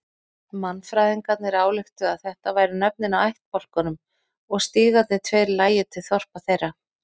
Mannfræðingarnir ályktuðu að þetta væru nöfnin á ættbálkunum og stígarnir tveir lægju til þorpa þeirra.